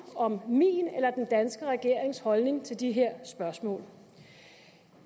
om min eller den danske regerings holdning til de her spørgsmål